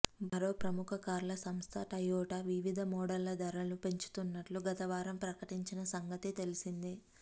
మరో ప్రముఖ కార్ల సంస్థ టయోటా వివిధ మోడళ్ల ధరలు పెంచుతున్నట్లు గతవారం ప్రకటించిన సంగతి తెలిసిందే